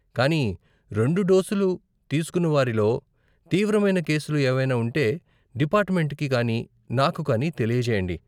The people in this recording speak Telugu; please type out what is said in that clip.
కానీ రెండు డోసులు తీసుకున్న వారిలో తీవ్రమైన కేసులు ఏవైనా ఉంటే డిపార్టుమెంటుకి కానీ నాకు కానీ తెలియజేయండి.